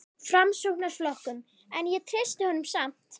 Framsóknarflokknum, en ég treysti honum samt.